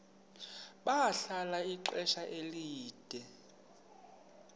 bahlala ixesha elide